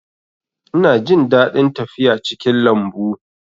Ina jin daɗin tafiya cikin lambu